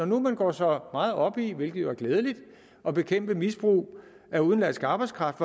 nu går så meget op i hvilket er glædeligt at bekæmpe misbrug af udenlandsk arbejdskraft